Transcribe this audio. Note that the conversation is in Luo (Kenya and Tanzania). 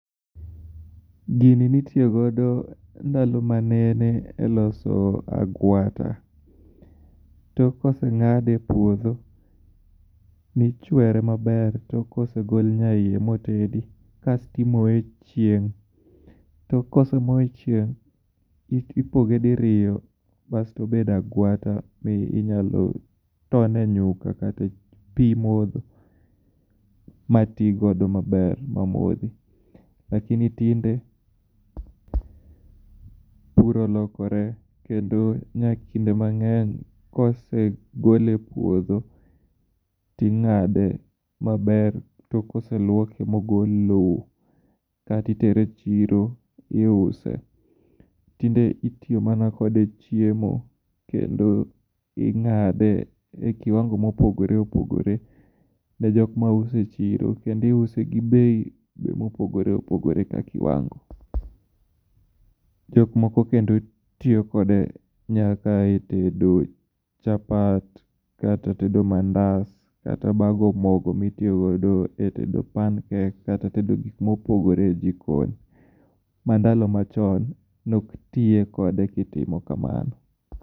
Gini ni tiyo godo ndalo ma nene e loso agwata tok ka osengade e puodho ichwere ma ber to ka osegol nya iye mo tendi kasto i moye e chieng ka osemoye e chieng to ipoge diriyo kasto obedo agwata ma inyalo tone nyuka kata pi modho ma tigodo ma ber ma modhi lakini tinde pur olokore kendo nya kinde ma ngeny kose gole e puodho to ingade maber tok ka oselwoke ma ogol lowo kae itere e chiro iuse tinde itiyo kode mana e chiemo kendo ingade e kiwango ma opogore opogore be nitie jok ma use e chiro kendo iuse be gi bei be ma opogore opogore ka kiwango jok moko bende tiyo kode nyaka e tedo chapat kata mandas kata e bago mogo mitiyo go e tedo pan cake kata tedo gik ma opogore e jikon ka ndalo ma chon ne ok tiye kode e gik ma chalo kamano